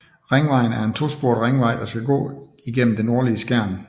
Ringvejen er en to sporet ringvej der gå igennem det nordlige Skjern